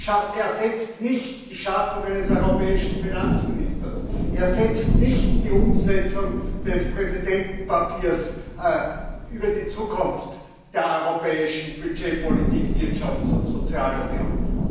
Es ersetzt nicht die Schaffung eines europäischen Finanzministers, ersetzt nicht die Umsetzung des Präsidentenpapiers über die Zukunft der europäischen Budgetpolitik, Wirtschafts und Sozialunion.